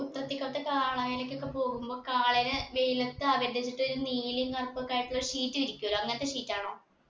ഉത്രത്തിക്കൊത്ത കാളായിരൊക്കൊക്കെ പോകുമ്പൊ കാളനെ വെയിലത്ത് ആദരം ചെയ്തിട്ട് ഒരു നീലയും കറുപ്പൊക്കെ ആയിട്ടുള്ള sheet വിരിക്കൂലേ അങ്ങനത്തെ sheet ആണോ